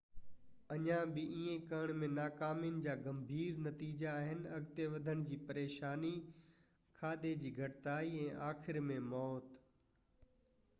اڃا بہ ايئن ڪرڻ ۾ ناڪامين جا گنڀير نتيجا آهن اڳتي وڌڻ جي پريشاني کاڌي جي گهٽتائي ۽ آخر ۾ موت